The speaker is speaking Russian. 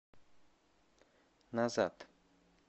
назад